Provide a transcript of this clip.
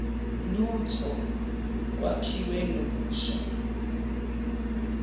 lutho kwakhiwe kabusha